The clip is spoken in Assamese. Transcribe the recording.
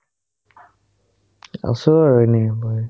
আছো আৰু এনে বাই